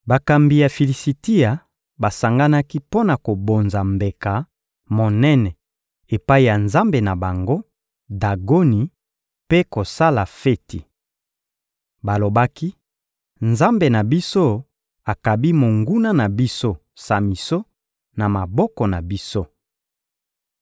Bakambi ya Filisitia basanganaki mpo na kobonza mbeka monene epai ya nzambe na bango, Dagoni, mpe kosala feti. Balobaki: «Nzambe na biso akabi monguna na biso, Samison, na maboko na biso.»